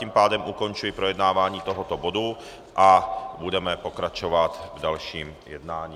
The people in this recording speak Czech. Tím pádem ukončuji projednávání tohoto bodu a budeme pokračovat v dalším jednání.